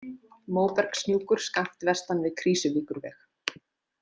Móbergshnjúkur skammt vestan við Krýsuvíkurveg.